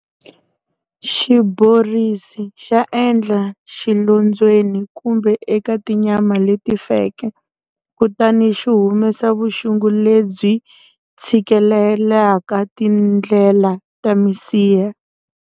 Xiborisi xa endla xilondzweni kumbe eka tinyama leti feke kutani xi humesa vuxungu lebyi tshikilelaka tindlela ta misiha.